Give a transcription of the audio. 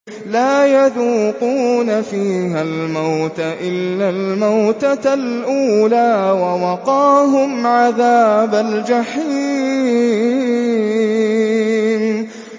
لَا يَذُوقُونَ فِيهَا الْمَوْتَ إِلَّا الْمَوْتَةَ الْأُولَىٰ ۖ وَوَقَاهُمْ عَذَابَ الْجَحِيمِ